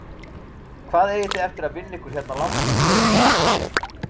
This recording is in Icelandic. Hvað eigið þið eftir að vinna ykkur hérna langt upp heiðina?